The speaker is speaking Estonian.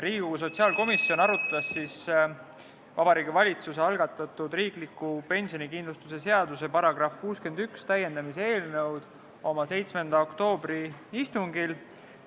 Riigikogu sotsiaalkomisjon arutas Vabariigi Valitsuse algatatud riikliku pensionikindlustuse seaduse § 61 täiendamise eelnõu oma 7. oktoobri istungil.